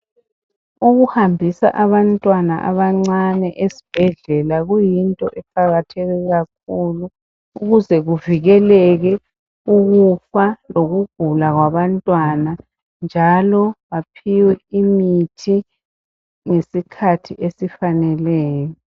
Ukuhambisa abantwana abancane esibhedlela kuyinto eqakatheke kakhulu. Ukuze kuvikeleke ukufa lokugula kwabantwana, njalo. baphiwe imithi ngesikhathi esifaneleyo.